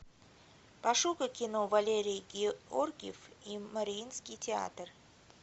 пошукай кино валерий георгиев и мариинский театр